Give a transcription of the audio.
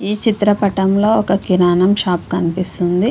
ఈ చిత్ర పటంలో ఒక కిరాణం షాప్ కనిపెస్తుంది.